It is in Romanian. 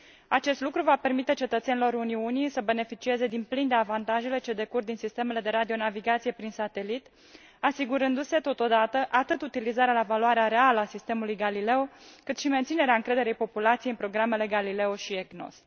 Acest lucru va permite cetățenilor Uniunii să beneficieze din plin de avantajele ce decurg din sistemele de radionavigație prin satelit, asigurându se, totodată, atât utilizarea la valoarea reală a sistemului Galileo, cât și menținerea încrederii populației în programele Galileo și EGNOS.